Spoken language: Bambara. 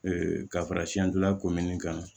Ee ka fara siyandilan komini kan